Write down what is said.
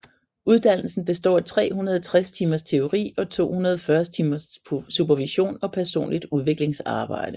Uddannelsen består af 360 timers teori og 240 timers supervision og personligt udviklingsarbejde